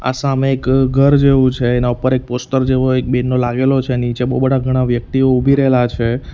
સામે ઘ-ઘર જેવું છે એના ઉપર એક પોસ્ટર જેવો એક બેનો લાગેલો છે નીચે બહુ બધા ઘણા વ્યક્તિઓ ઉભી રહેલા છે.